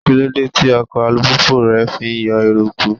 Kíló dé tí ọkọ̀ alùpùpù rẹ fi yọ eruku?